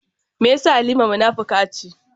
Me yasa Halima munafuka ce?